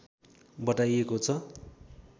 बताइएको छ